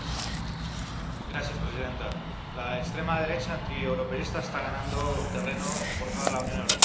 Señora presidenta, la extrema derecha antieuropeísta está ganando terreno por toda la Unión Europea.